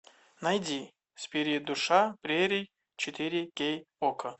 найди спирит душа прерий четыре кей окко